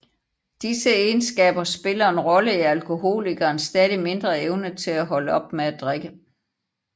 Disse egenskaber spiller en rolle i alkoholikerens stadigt mindre evne til at holde op med at drikke